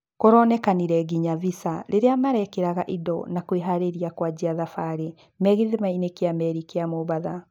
Kũronekanire nginya visa rĩrĩa meekĩraga indo na kwĩharĩria kuanjia thabarĩ me gĩthimainĩ kĩa meri kĩa Mombatha.